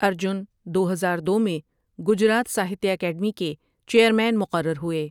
ارجن دو ہزار دو میں گجرات ساہتیہ اکیڈمی کے چیئرمین مقرر ہوئے ۔